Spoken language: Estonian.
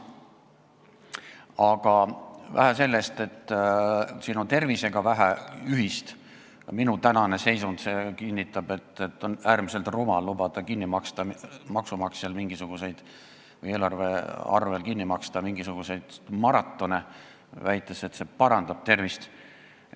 Aga vähe sellest, et siin on tervisega vähe ühist, minu tänane seisund kinnitab, et on äärmiselt rumal lubada maksumaksjal või eelarve kaudu kinni maksta mingisuguseid maratone, väites, et see parandab tervist.